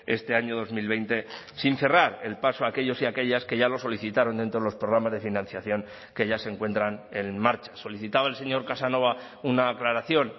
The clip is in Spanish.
este año dos mil veinte sin cerrar el paso a aquellos y aquellas que ya lo solicitaron dentro de los programas de financiación que ya se encuentran en marcha solicitaba el señor casanova una aclaración